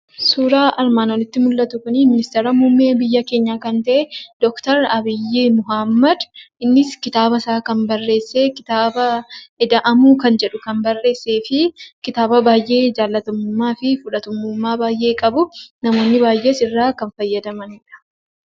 Suuraan armaan oliitti mul'atu kun ministeera muummee keenyaa kan ta'e doktar Abiyyii Ahmad. Innis kitaabasaa kan barreesse kitaaba ida'amuu kan jedha kan barreessee fi kitaaba baay'ee jaallatamummaa fi fudhatamummaa guddaa kan qabuu fi namoonni baay'een kan irraa fayyadamanidha.